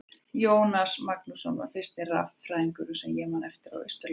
Jónas Magnússon var fyrsti raffræðingurinn sem ég man eftir á Austurlandi.